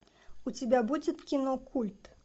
у тебя будет кино культ